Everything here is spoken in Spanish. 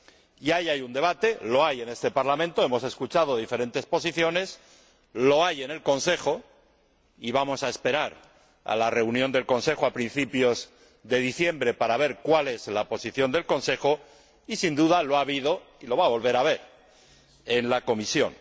Y ahí hay un debate, lo hay en este Parlamento hemos escuchado diferentes posiciones lo hay en el Consejo —y vamos a esperar a la reunión del Consejo, a principios de diciembre, para ver cuál es la posición del Consejo— y, sin duda, lo ha habido y lo va a volver a haber en la Comisión.